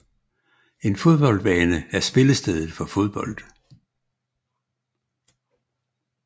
En fodboldbane er spillestedet for fodbold